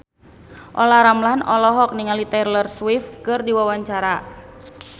Olla Ramlan olohok ningali Taylor Swift keur diwawancara